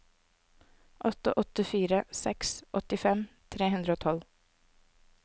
åtte åtte fire seks åttifem tre hundre og tolv